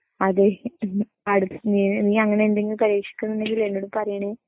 അതെ നീ അങ്ങനെയെന്തെങ്കിലും പരീക്ഷിക്കുന്നുണ്ടെങ്കിൽ എന്നോട് പറയണേ.